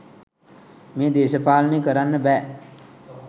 මේ දේශපාලනය කරන්න බෑ.